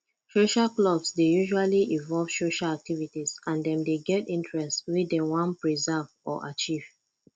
social clubs dey usually invove social activities and dem dey get interest wey dem wan preserve or achieve